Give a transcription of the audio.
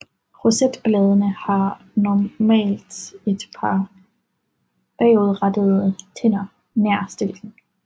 Rosetbladene har normalt et par bagudrettede tænder nær stilken